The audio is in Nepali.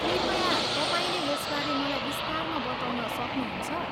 कृपया, तपाईँले यसबारे मलाई विस्तारमा बताउन सक्नुहुन्छ?